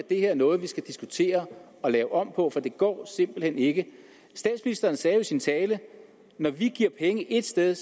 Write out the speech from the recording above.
det her noget vi skal diskutere og lave om på for det går simpelt hen ikke statsministeren sagde jo i sin tale når vi giver penge et sted